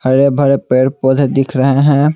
हरे भरे पेड़ पौधे दिख रहे हैं।